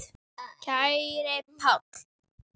Kæri Páll.